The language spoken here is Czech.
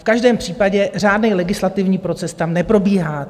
V každém případě řádný legislativní proces tam neprobíhá.